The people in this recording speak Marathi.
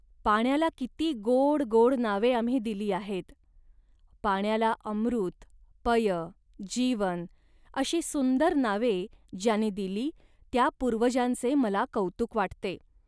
पाण्याला किती गोड गोड नावे आम्ही दिली आहेत. पाण्याला अमृत, पय, जीवन, अशी सुंदर नावे ज्यांनी दिली त्या पूर्वजांचे मला कौतुक वाटते